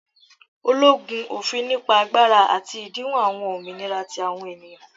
ologun, ofin nipa agbara ati idinwo awọn ominira ti awọn eniyan.